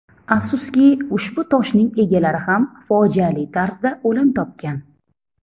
Afsuski, ushbu toshning egalari ham fojiali tarzda o‘lim topgan.